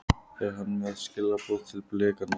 Er hann með skilaboð til Blikana?